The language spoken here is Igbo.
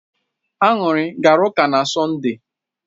Añụrị gara ụka na Sọnde?